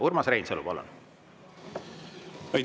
Urmas Reinsalu, palun!